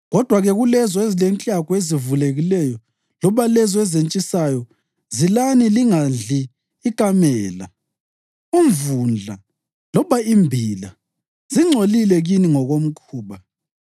Kodwa-ke kulezo ezilenklagu ezivulekileyo loba lezo ezentshisayo zilani lingadli ikamela, umvundla loba imbila. Zingcolile kini ngokomkhuba.